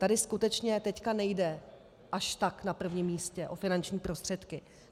Tady skutečně teď nejde až tak na prvním místě o finanční prostředky.